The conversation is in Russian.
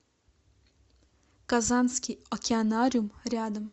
казанский океанариум рядом